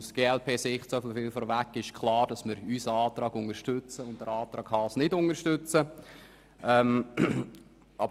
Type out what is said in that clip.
Die glp-Fraktion unterstützt selbstverständlich unseren Antrag und lehnt den Antrag Haas ab.